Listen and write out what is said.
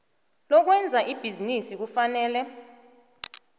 lokwenza ibhizinisi kufanele